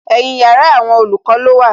Ẹ̀yin yàrá àwọn olùkọ́ ló wà